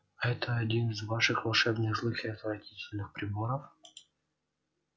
это один из ваших волшебных злых и отвратительных приборов